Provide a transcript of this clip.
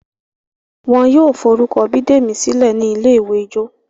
wón ló forukọ Bidemi sílè ní ní ilé-ìwé ìjọ